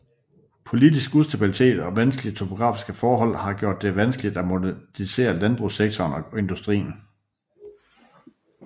Politisk ustabilitet og vanskelige topografiske forhold har gjort det vanskeligt at modernisere landbrugssektoren og industrien